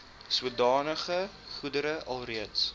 sodanige goedere alreeds